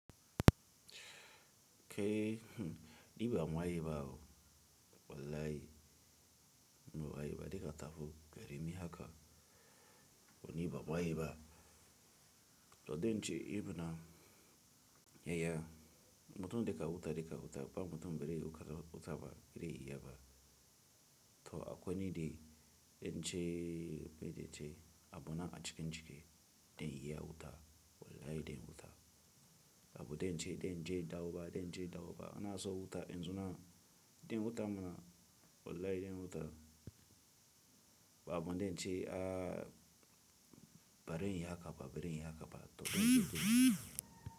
Ke, hm, ni ba maye bawo wallahi, maye ba deka taho, beremi haka. Wani ba maye ba. To den ce, i muna yaya, mutum deka wuta deka wuta, ba mutum biri wuta utaba ire iya ba. To akwai ni de den ce, be de ce, a bona a chike chike, den iya wuta, wallahi den wuta. Ba bu den ce, den ce dawaba, den ce dawaba. Ana so wuta, in suna den wuta muna, wallahi den wuta. Ba bu den ce, a bari iya haka ba, bari iya haka ba. To den ce.